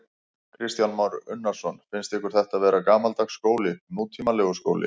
Kristján Már Unnarsson: Finnst ykkur þetta vera gamaldags skóli, nútímalegur skóli?